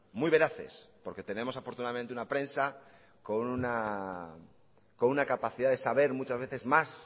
muy veraces porque tenemos afortunadamente una prensa con una capacidad de saber muchas veces más